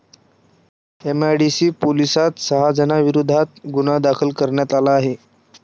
MIDC पोलीसांत सहा जणांविरोधात गुन्हा दाखल करण्यात आला आहे.